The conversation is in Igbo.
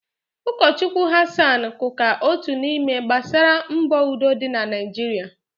Ụkọ Chukwu Hassan Kuka otu n'ime gbaara mbọ udo dị na Naijiria.